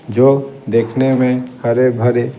जो देखने में हरे भरे --